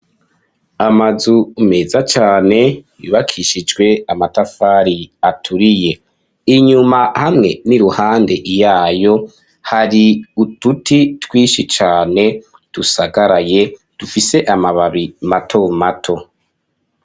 Amazu meza cane yubakishijwe amatafari aturiye inyuma hamwe n'iruhande iyayo hari uduti twinshi cane dusagaraye dufise amababi mato mato.